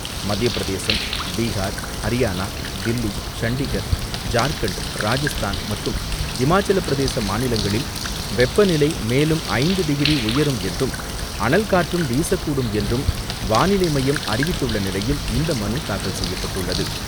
மத்தியப்பிரதேசம், பீஹார், ஹரியானா, தில்லி, சண்டிகர், ஜார்க்கண்ட், ராஜஸ்தான் மற்றும் ஹிமாச்சலப் பிரதேச மாநிலங்களில் வெப்பநிலை மேலும் ஐந்து டிகிரி உயரும் என்றும், அனல் காற்றும் வீசக்கூடும் என்றும் வானிலை மையம் அறிவித்துள்ள நிலையில் இந்த மனு தாக்கல் செய்யப்பட்டுள்ளது.